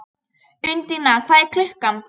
Undína, hvað er klukkan?